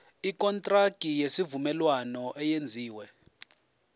ikontraki yesivumelwano eyenziwe